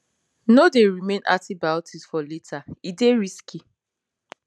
no dey remain antibiotics for later e dey risky